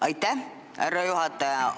Aitäh, härra juhataja!